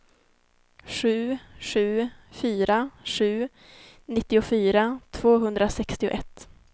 sju sju fyra sju nittiofyra tvåhundrasextioett